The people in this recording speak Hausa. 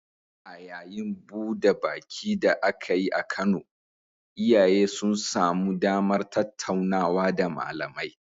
A yayin buda baki da aka yi a Kano, iyaye sun samu damar tattaunawa da malamai